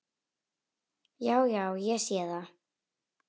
Já, já. ég sé það.